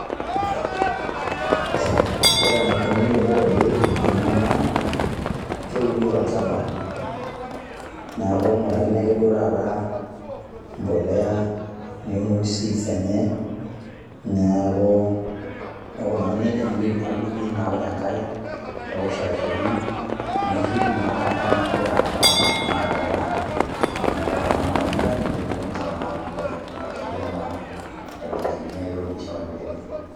Ore enaikoni tenitobiri ena naa, keuni tolchamba. Neeku king'urakini ake duo taata empolea, neuni seeds enye, neeku nikunari nejia, neeku duo ilotu naa apik enkare, newosh olchani, nirrip naa taata, neeku gira aramramat, naa metaa emetaa kuna ilmatunda, nilotu naa ala amir, arashu ilo naa aibekekenyie ai toki nishomo aibelekenyie.